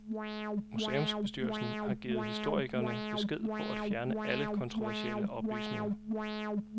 Museumsbestyrelsen har givet historikerne besked på at fjerne alle kontroversielle oplysninger.